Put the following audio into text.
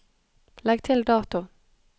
Legg til dato